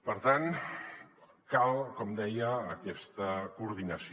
per tant cal com deia aquesta coordinació